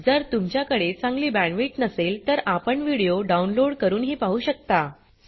जर तुमच्याकडे चांगली बॅण्डविड्थ नसेल तर आपण व्हिडिओ डाउनलोड करूनही पाहू शकता